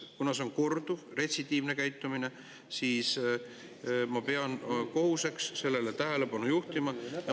Kuna see on korduv, retsidiivne käitumine, siis ma pean oma kohuseks sellele tähelepanu juhtida.